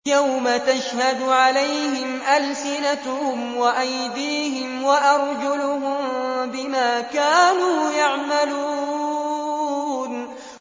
يَوْمَ تَشْهَدُ عَلَيْهِمْ أَلْسِنَتُهُمْ وَأَيْدِيهِمْ وَأَرْجُلُهُم بِمَا كَانُوا يَعْمَلُونَ